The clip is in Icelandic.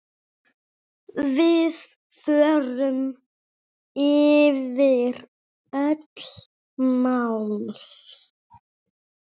Við förum yfir öll mál.